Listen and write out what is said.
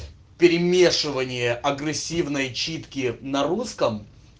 перемешивание агрессивной читки на русском